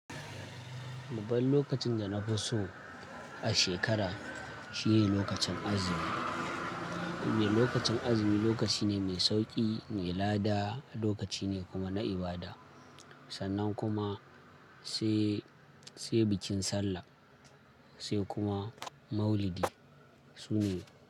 Babban lokacin da nafi so a shekara shine lokacin azumi. Lokacin azumi lokaci ne mai sauƙi, mai lada, lokaci ne kuma na ibada. Sannan kuma sai, sai bikin Sallah, sai kuma Maulidi su ne.